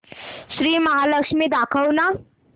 श्री महालक्ष्मी दाखव ना